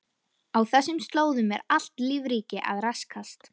Á þessum slóðum er allt lífríki að raskast.